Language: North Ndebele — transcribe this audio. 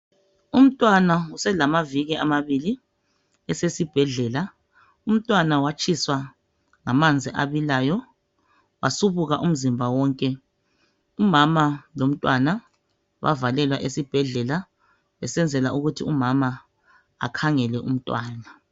Umntwana uselamaviki amabili esesibhedlela umntwana watshiswa ngamanzi abilayo wasubuka umzimba wonke umama lomntwana bavalelwa esibhedlela besenzela ukuthi umama akhangele umntwana.